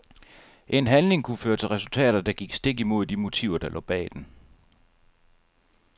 En handling kunne føre til resultater, der gik stik imod de motiver der lå bag den.